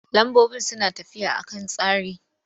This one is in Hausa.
Lambobi suna tafiya a kan tsari.